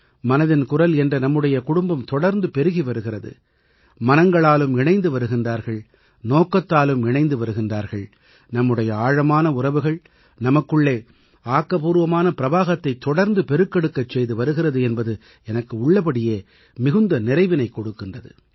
மனதின் குரல் என்ற நம்முடைய குடும்பம் தொடர்ந்து பெருகி வருகிறது மனங்களாலும் இணைந்து வருகின்றார்கள் நோக்கத்தாலும் இணைந்து வருகின்றார்கள் நம்முடைய ஆழமான உறவுகள் நமக்குள்ளே ஆக்கப்பூர்வமான பிரவாகத்தைத் தொடர்ந்து பெருக்கெடுக்கச் செய்து வருகிறது என்பது எனக்கு உள்ளபடியே மிகுந்த நிறைவினைக் கொடுக்கின்றது